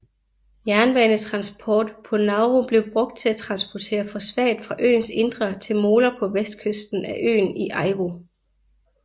Jernbanetransport på Nauru blev brugt til at transportere fosfat fra øens indre til moler på vestkysten af øen i Aiwo